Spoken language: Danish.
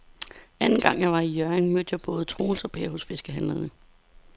Anden gang jeg var i Hjørring, mødte jeg både Troels og Per hos fiskehandlerne.